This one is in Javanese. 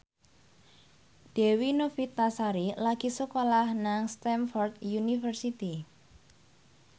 Dewi Novitasari lagi sekolah nang Stamford University